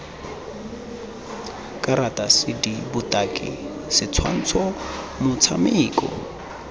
karata cd botaki setshwantsho motshameko